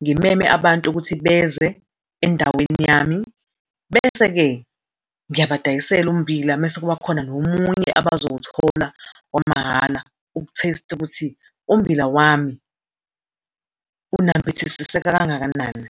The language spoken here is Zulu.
ngimeme abantu ukuthi beze endaweni yami. Bese-ke ngiyabadayisele ummbila, bese kuba khona nomunye abazowuthola wamahhala, uku-tatste ukuthi ummbila wami unambithisiseke kangakanani.